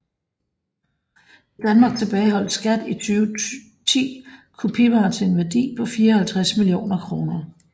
I Danmark tilbageholdt SKAT i 2010 kopivarer til en værdi på 54 millioner kroner